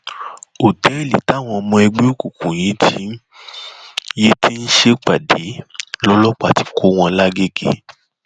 ọtẹẹlì táwọn ọmọ ẹgbẹ òkùnkùn yìí ti yìí ti ń ṣèpàdé lọlọpàá ti kọ wọn làgẹgẹ